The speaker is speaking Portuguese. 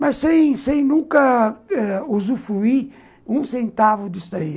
Mas sem sem nunca eh usufruir um centavo disso aí.